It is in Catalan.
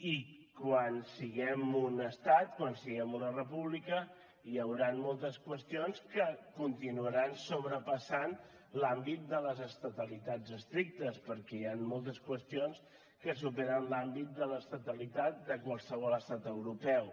i quan siguem un estat quan siguem una república hi hauran moltes qüestions que continuaran sobrepassant l’àmbit de les estatalitats estrictes perquè hi han moltes qüestions que superen l’àmbit de l’estatalitat de qualsevol estat europeu